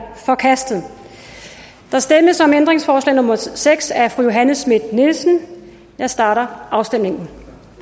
forkastet der stemmes om ændringsforslag nummer seks af johanne schmidt nielsen jeg starter afstemningen